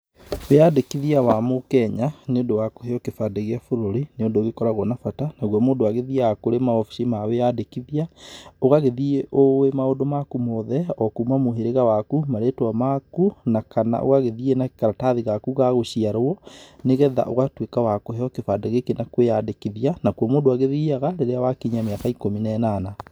Wĩyandĩkithia wa mũkenya, nĩ ũndũ wa kũheo kĩbandĩ gĩa bũrũri, nĩ ũndũ ũgĩkoragũo na bata, naguo mũndũ agĩthiaga kũrĩ mawabici ma wĩyandĩkithia, ũgagĩthiĩ ũwĩ maũndũ maku mothe, okuma mũhĩrĩga waku, marĩtwa maku, ona kana ũgagĩthiĩ na karatathi gaku ga gũgĩciarũo, nĩgetha ũgatuĩka wa kũheo kĩbandĩ gĩkĩ na kwĩyandĩkithia, nakuo mũndũ agĩthiaga, rĩrĩa wakinyia mĩaka ikũmi na ĩnana.